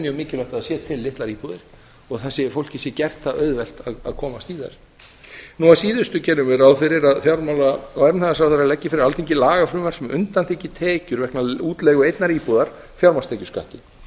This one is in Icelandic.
mjög mikilvægt að það séu til litlar íbúðir og fólki sé gert það auðvelt að komast í þær nú að síðustu gerum við ráð fyrir að fjármála og efnahagsráðherra leggi fyrir alþingi lagafrumvarp sem undanþiggi tekjur vegna útleigu einnar íbúðar fjármagnstekjuskatti